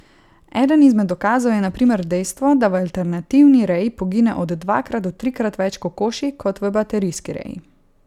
Eden izmed dokazov je na primer dejstvo, da v alternativni reji pogine od dvakrat do trikrat več kokoši kot v baterijski reji.